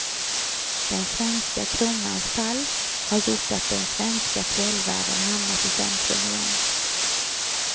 Den svenska kronans fall har gjort att den svenska fjällvärlden hamnat i centrum igen.